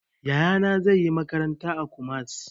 Yaya na zai yi makaranta a Kumasi